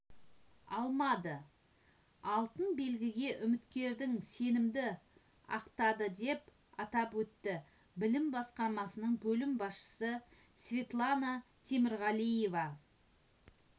алмады алтын белгіге үміткердің сенімді ақтады деп атап өтті білім басқармасының бөлім басшысы светлана темірғалиева